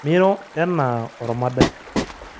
Miro enaa ormodai.